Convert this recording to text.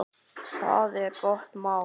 Það er gott mál.